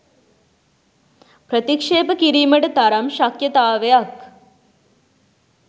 ප්‍රතික්‍ෂේප කිරීමට තරම් ශක්‍යතාවක්